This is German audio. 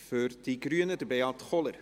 Für die Grünen, Beat Kohler.